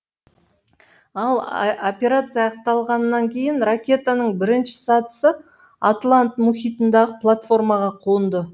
ал операция аяқталғаннан кейін ракетаның бірінші сатысы атлант мұхитындағы платформаға қонды